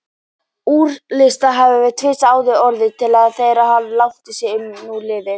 Úrslit hafa tvisvar áður orðið á þessa leið þótt langt sé nú um liðið.